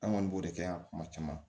An kɔni b'o de kɛ yan kuma caman